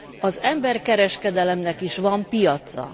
Az emberkereskedelemnek is van piaca.